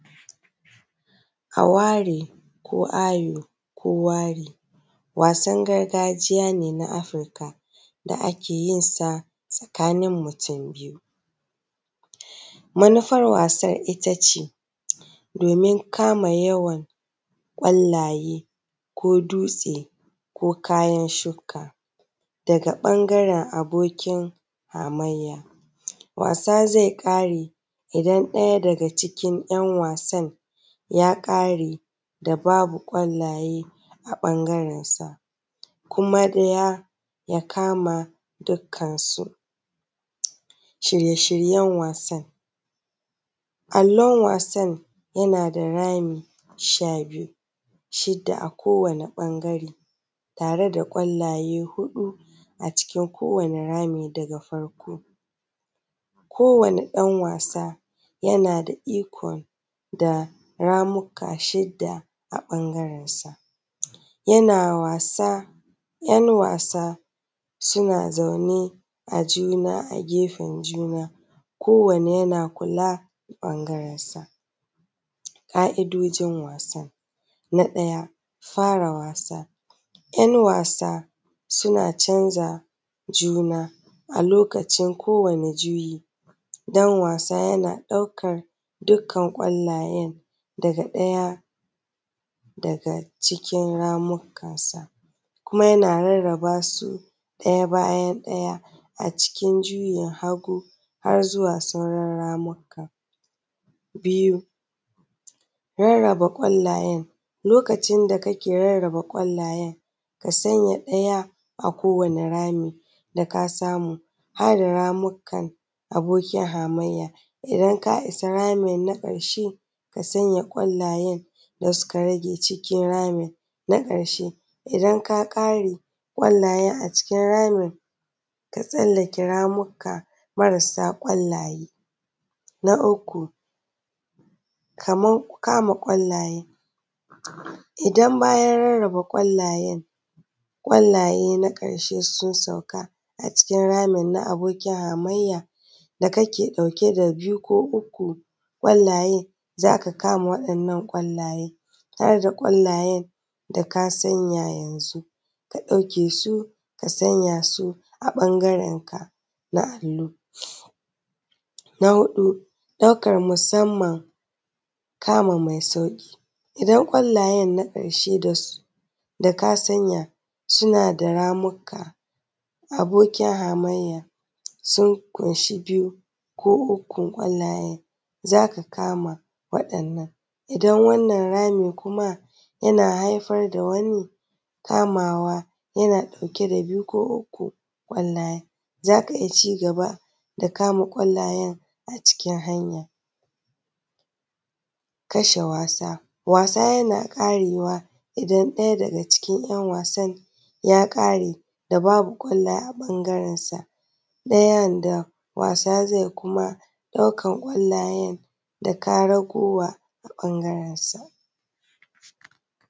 Aware ko ayoyo ko wari wasan gargajiya ne na Afirika da ake yin sa tsakanin mutum biyu manufan wasan ita ce domin kama yawan kwallaye ko dutse ko kayan shuka daga ɓangaren abokin wasa zai kare idan ɗaya daga cikin ‘yanwasan ya kare da babu kwallaye a ɓangarensu, kuma ya kama dukkansu. Shirye-shiryen wasan allon, wasan yana da rami sha biyu shida a kowane ɓangare tare da kwallaye huɗu a cikin kowane rami, daga farko kowane ɗan wasa yaana da ikon da ramuka shida a ɓangarensa, yana wasa ‘yan wasa suna zaune ajuna a gefen juna kowane yana kula ɓanagrensa. ƙa’idojin wasa na ɗaya fara wasa, ‘yan wasa suna canza juna a lokacin kowane juyi ɗan wasa yana ɗaukan dukkan kwallayen daga ɗaya daga cikin ramukansa kuma yana rarraba su ɗaya bayan ɗaya a cikin juyin hagu har zuwa wani ramuka biyu. Rarraba kwallayen lokacin da kake rarraba kwallayen ka sanya a ɗaya a kowane rami da ka samu, haɗa ramukan abokin hamayya idan ka isa rami na ƙarshe kasanya kwallayan da suka rage cikin rami na a ƙarshe idan ka kare kwallayan a cikin ramin ka tsallake ramuka marasa kwalaye. Na uku kaman kama kwallaye idan bayan rarraba kwallayen kwallaye na ƙarshe sun sauka a cikin ramin na abokin hamayya daka ke ɗauke da biyu ko uku kwallayen za ka kama waɗannan kwallayan, za ka ga kwallayan da ka sanya yanzun ka ɗauke su ka sanya su a ɓangarenka na allu. Na huɗu ɗaukar musamman kamu mai sauƙi idan kwallayen na ƙarshe da ka sanya suna da ramuka abokin hamayya sun fanshi biyu ko uku kwallayen za ka kama waɗannan, idan wannan rami kuma yana haifar da wani kamawa yana ɗauke da biyu ko uku kwallayen za ka iya ci gaba da kama kwallayen a cikin hanya. Kasha wasa, wasa yana ƙarewa idan ɗaya daga cikin wasan ya ƙare da babu kwallayen a ɓangarensa ɗayan da wasa zai kuma ɗaukan kwallayen da ko raguwa a ɓangarensa.